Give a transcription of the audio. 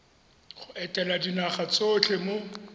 go etela dinaga tsotlhe mo